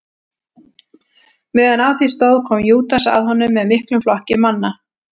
meðan á því stóð kom júdas að honum með miklum flokki manna